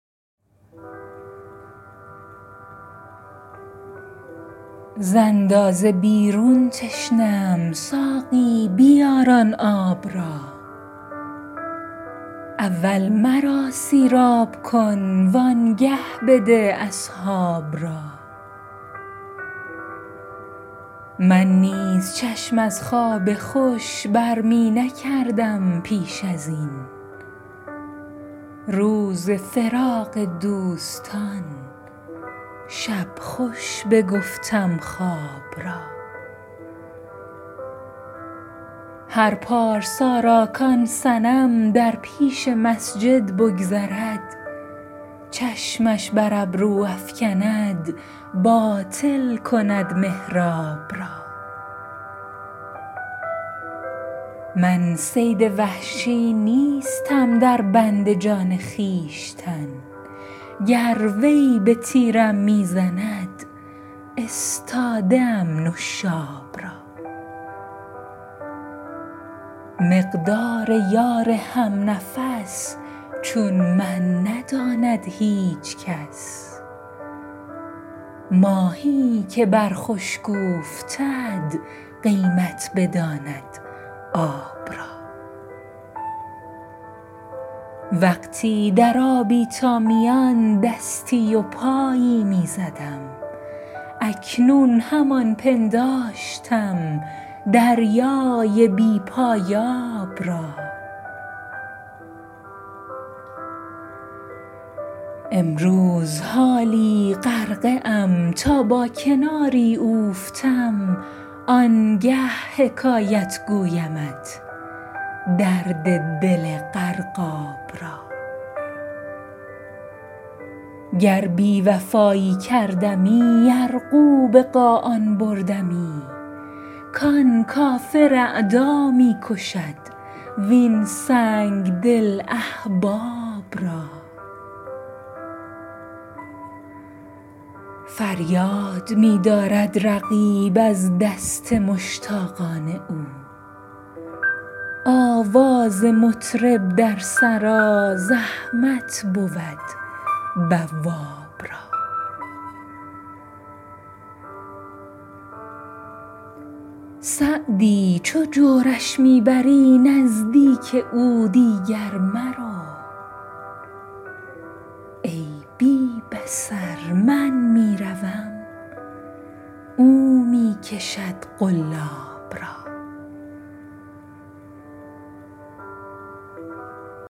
ز اندازه بیرون تشنه ام ساقی بیار آن آب را اول مرا سیراب کن وآنگه بده اصحاب را من نیز چشم از خواب خوش بر می نکردم پیش از این روز فراق دوستان شب خوش بگفتم خواب را هر پارسا را کآن صنم در پیش مسجد بگذرد چشمش بر ابرو افکند باطل کند محراب را من صید وحشی نیستم در بند جان خویشتن گر وی به تیرم می زند استاده ام نشاب را مقدار یار هم نفس چون من نداند هیچ کس ماهی که بر خشک اوفتد قیمت بداند آب را وقتی در آبی تا میان دستی و پایی می زدم اکنون همان پنداشتم دریای بی پایاب را امروز حالا غرقه ام تا با کناری اوفتم آنگه حکایت گویمت درد دل غرقاب را گر بی وفایی کردمی یرغو به قاآن بردمی کآن کافر اعدا می کشد وین سنگدل احباب را فریاد می دارد رقیب از دست مشتاقان او آواز مطرب در سرا زحمت بود بواب را سعدی چو جورش می بری نزدیک او دیگر مرو ای بی بصر من می روم او می کشد قلاب را